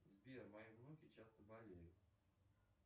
сбер мои внуки часто болеют